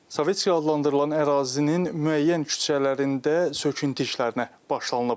Sovetski adlandırılan ərazinin müəyyən küçələrində söküntü işlərinə başlanılıb.